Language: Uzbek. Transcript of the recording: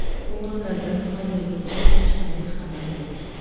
O‘g‘rilardan hozirgacha hech qanday xabar yo‘q.